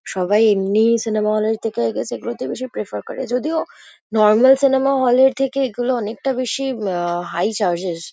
সবাই এমনিই cinema hall -এর থেকে আই গেস এগুলোতেই বেশি প্রেফার করে। যদিও নরমাল সিনেমা হল -এর থেকে এগুলো অনেকটা বেশি উম আ হাই চার্জেস ।